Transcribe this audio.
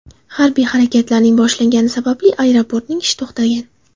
Harbiy harakatlarning boshlangani sababli aeroportning ishi to‘xtagan.